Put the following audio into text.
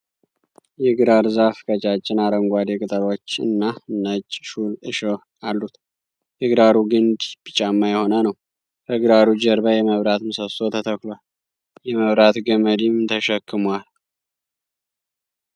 የግራር ዛፍ ቀጫጭን አረንጓዴ ቅጠሎች እና ነጭ ሹል እሽህ አሉት። የግራሩ ግንድ ቢጫማ የሆነ ነዉ። ከግራሩ ጀርባ የመብራት ምሰሶ ተተክሏል። የመብራት ገመድም ተሸክሟል።